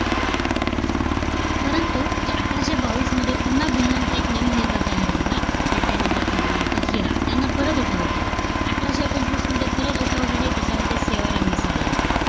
परंतु, अठराशे बावीसमध्ये पुन्हा भिल्लांचा एक नवीन नेता तयार झाला. आणि त्या नेत्याचं नाव होतं. हिरा. त्यांनं परत उठाव केला. अठराशे पंचवीस मध्ये, परत उठाव झाले. त्याच्यामध्ये सेवाराम गिसाडे येतात.